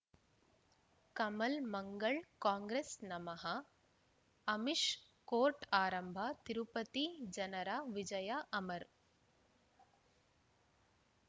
ಕಮಲ್ ಮಂಗಳ್ ಕಾಂಗ್ರೆಸ್ ನಮಃ ಅಮಿಷ್ ಕೋರ್ಟ್ ಆರಂಭ ತಿರುಪತಿ ಜನರ ವಿಜಯ ಅಮರ್